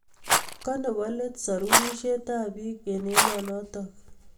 Kanebo let sorunishetab bik eng emonotok